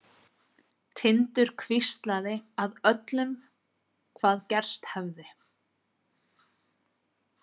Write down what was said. Tindur hvíslaði að öllum hvað gerst hefði.